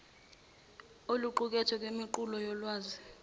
oluqukethwe kwimiqulu yolwazi